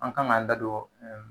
An kan ka an da don